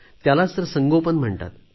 त्यालाच तर संगोपन म्हणतात